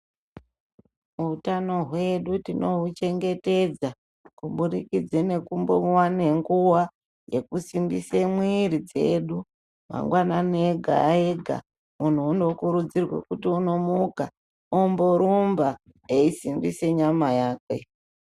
Utano hwedu tinohuchengetedza kubudikidze nekumbowane nguwa yekusimbise mwiri dzedu mangwanani ega ega Muntu unokurudzirwe kuti unomuka omborumba eisimbise nyama yakwe.